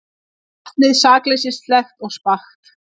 Vatnið sakleysislegt og spakt.